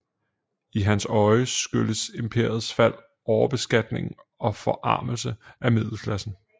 I hans øjne skyldes imperiets fald overbeskatning og forarmelse af middelklassen